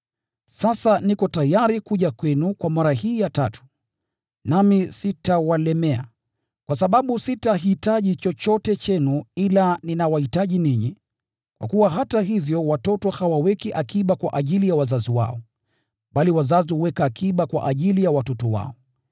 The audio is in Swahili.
Sasa niko tayari kuja kwenu kwa mara hii ya tatu, nami sitawalemea, kwa sababu sitahitaji chochote chenu, ila ninawahitaji ninyi, kwa kuwa hata hivyo watoto hawaweki akiba kwa ajili ya wazazi wao, bali wazazi huweka akiba kwa ajili ya watoto wao.